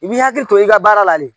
I b'i hakili to i ka baara la le.